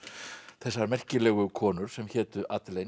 þessar merkilegu konur sem hétu